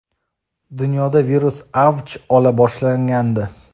dunyoda virus avj ola boshlagandi.